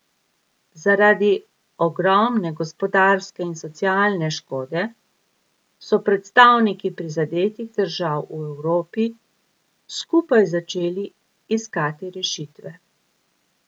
Zaradi ogromne gospodarske in socialne škode so predstavniki prizadetih držav v Evropi skupaj začeli iskati rešitve.